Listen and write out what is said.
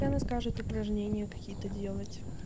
и она скажет упражнения какие-то делать